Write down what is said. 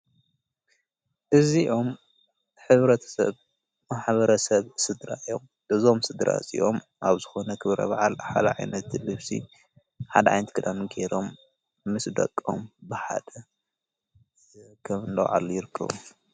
እዚኦም ኅብረት ሰብ መሓበረ ሰብ ሥድራ ዮም ድዞም ስድራ እፂኦም ኣብ ዝኾነ ኽብረ ባዓል ሓልዒነቲ ልፍሲ ሓደ ኣይንቲ ክዳሚ ገይሮም ምስ ደቆም በሓደ ኸምለውዓሉ ይርከቡ::